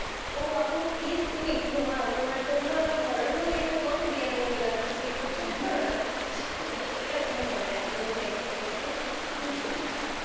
ও আপু please তুমি ঘুমাও তোমার জন্য আমার horror movie টাও comedian movie লাগতেছে একটু চুপ করো না মানে এরকম হয়ে যায় movie দেখতে গেলে